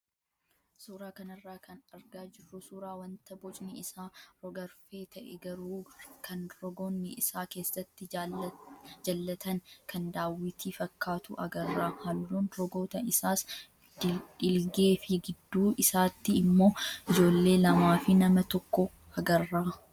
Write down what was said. Suuraa kanarraa kan argaa jirru suuraa wanta bocni isaa rog-arfee ta'e garuu kan rogoonni isaa keessatti jallatan kan daawwitii fakkaatu agarra. Halluun rogoota isaas dhiilgee fi gidduu isaatti immoo ijoollee lamaa fi nama tokko agarra.